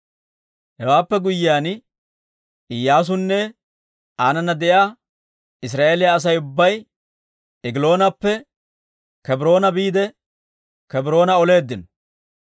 Hewaappe guyyiyaan Iyyaasunne aanana de'iyaa Israa'eeliyaa Asay ubbay Egiloonappe Kebroona biide Kebroona oleeddino.